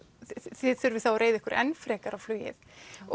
þið þurfið þá að reiða ykkir enn frekar á flugið og